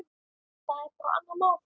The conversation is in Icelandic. Það er bara annað mál.